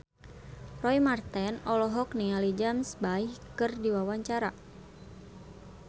Roy Marten olohok ningali James Bay keur diwawancara